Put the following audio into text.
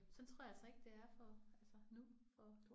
Sådan tror jeg altså ikke det er for altså nu for